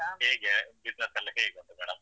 ಹೇಗೆ business ಎಲ್ಲ ಹೀಗುಂಟು ಮೇಡಂ?